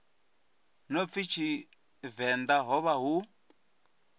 no pfi tshivenḓa hovha hu